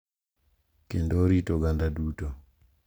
Kendo orit oganda duto.